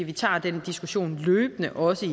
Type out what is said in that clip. vi tager den diskussion løbende også